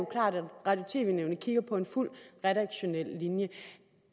at radio og tv nævnet kigger på en fuld redaktionel linje